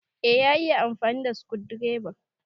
Eh, ya iya amfani da sukundireba.